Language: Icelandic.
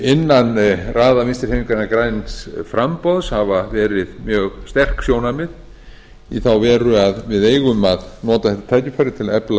innan raða vinstri hreyfingarinnar græns framboðs hafa verið mjög sterk sjónarmið í þá veru að við eigum að nota þetta tækifæri til